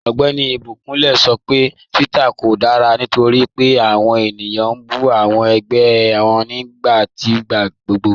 Ọgbẹ́ni Ibikunle sọ pé Twitter kò dára nítorí pé awọn ènìyàn n bú awọn agbá wọn nibẹ̀ nigbàgbọ̀gbọ̀.